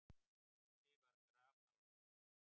Fúsi var grafalvarlegur.